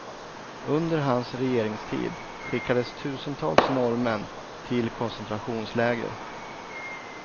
Under hans regeringstid skickades tusentals norrmän till koncentrations läger.